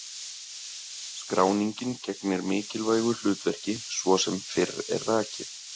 Skráningin gegnir mikilvægu hlutverki svo sem fyrr er rakið.